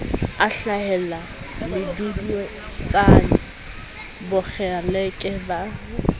a hlahela meduduetsane bokgeleke ba